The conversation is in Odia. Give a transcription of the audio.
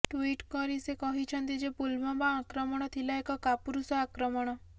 ଟୁଇଟ୍ କରି ସେ କହିଛନ୍ତି ଯେ ପୁଲ୍ଓ୍ବାମା ଆକ୍ରମଣ ଥିଲା ଏକ କାପୁରଷ ଆକ୍ରମଣ